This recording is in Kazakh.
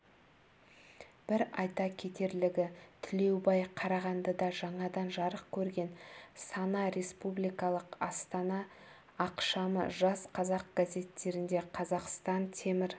бір айта кетерлігі тілеубай қарағандыда жаңадан жарық көрген сана республикалық астана ақшамы жас қазақ газеттерінде қазақстан темір